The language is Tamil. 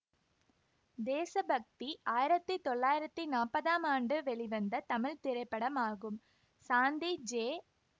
தேசபக்தி ஆயிரத்தி தொள்ளாயிரத்தி நாப்பதாம் ஆண்டு வெளிவந்த தமிழ் திரைப்படமாகும் சாந்தி ஜே